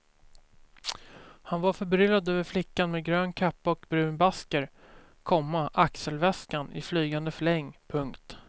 Han var förbryllad över flickan med grön kappa och brun basker, komma axelväskan i flygande fläng. punkt